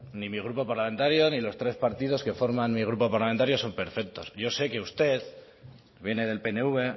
ni mi grupo parlamentario ni los tres partidos que forma mi grupo parlamentario son perfectos yo sé que usted que viene del pnv